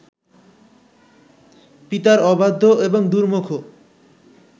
পিতার অবাধ্য এবং দুর্মুখ